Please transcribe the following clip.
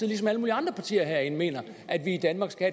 ligesom alle mulige andre partier herinde mener at vi i danmark skal